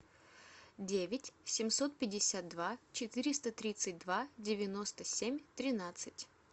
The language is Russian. девять семьсот пятьдесят два четыреста тридцать два девяносто семь тринадцать